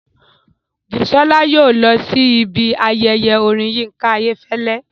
Bùsọ́lá yóò lọ sí ibi ayẹyẹ orin Yínká Ayéfẹ́lẹ́